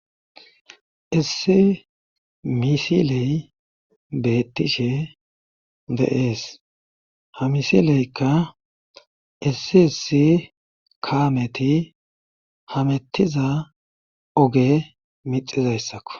isse misiley beettishe deees ha misileykka issi essi kaameti hamettiza oge mixizayssakko